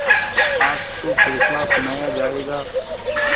आज तो फैसला सुनाया जायगा